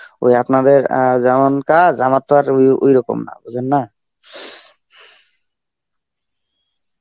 ওই আপনাদের অ্যাঁ যেমন কাজ আমার তো আর ওই~ ওইরকম না বোঝেন না.